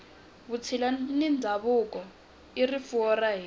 vutshila na ndhavuko i rifuwo ra hina